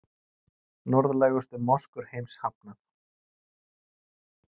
Norðlægustu mosku heims hafnað